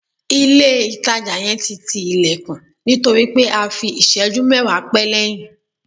Ile itaja yen ti ti ilekun nitori pe a fi iseju mewa pe leyin